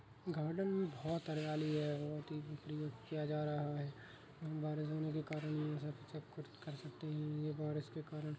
Garden में बहोत हरियाली है। बहोत ही किया जा रहा है। बारिश होने के कारण हम सब सबकुछ कर सकतें हैं। ये बारिश के कारन --